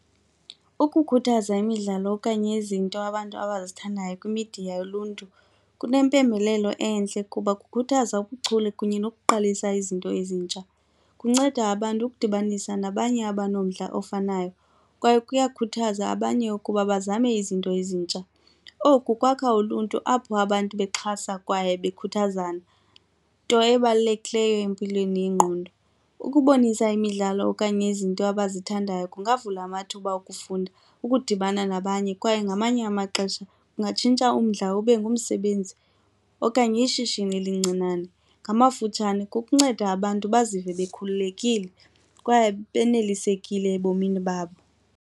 Ukukhuthaza imidlalo okanye izinto abantu abazithandayo kwimidiya yoluntu kunempembelelo entle kuba kukhuthaza ubuchule kunye nokuqalisa izinto ezintsha, kunceda abantu ukudibanisa nabanye abanomdla ofanayo kwaye kuyakhuthaza abanye ukuba bazame izinto ezintsha. Oku kwakha uluntu apho abantu bexhasa kwaye bakhuthazane nto ebalulekileyo empilweni yengqondo. Ukubonisa imidlalo okanye izinto abazithandayo kungavula amathuba okufunda, ukudibana nabanye kwaye ngamanye amaxesha kungatshintsha umdla ube ngumsebenzi okanye ishishini elincinane. Ngamafutshane kukunceda abantu bazive bekhululekile kwaye benelisekile ebomini babo.